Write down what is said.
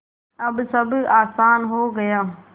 अब सब आसान हो गया